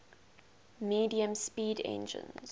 medium speed engines